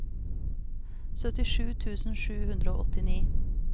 syttisju tusen sju hundre og åttini